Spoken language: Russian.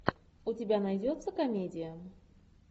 у тебя найдется комедия